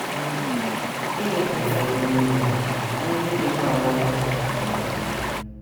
Gịnị bụ ụfọdụ n’ime ha, ihe ndị dịkwa aṅaa ka ị pụrụ ime?